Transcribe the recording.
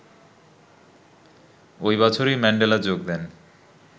ওই বছরই ম্যান্ডেলা যোগ দেন